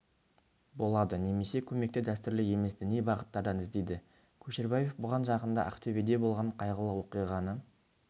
болады немесе көмекті дәстүрлі емес діни бағыттардан іздейді көшербаев бұған жақында ақтөбеде болған қайғылы оқиғаны